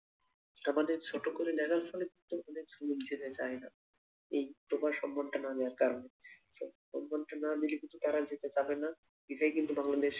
আমাদের ছোট করে দেখার ফলে কিন্তু আমাদের শ্রমিক যেতে চায়না এই proper সম্মানটা না দেওয়ার কারনে স সম্মানটা না দিলে কিন্তু তারাও যেতে চাইবে না এটাই কিন্তু বাংলাদেশ